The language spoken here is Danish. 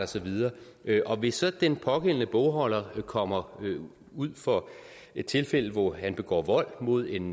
så videre og hvis så den pågældende bogholder kommer ud for et tilfælde hvor han begår vold mod en